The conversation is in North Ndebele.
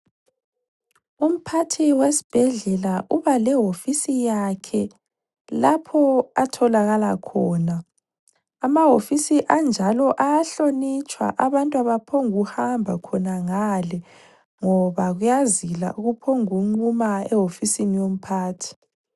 Umphathi wesibhedlela ubalehofisi yakhe ,lapho atholakala khona. Ama hofisi anjalo ayahlonitshwa abantu abaphombu kuhamba khona ngale ngoba kuyazila ukuphongu kunquma ehofisini yomphathi.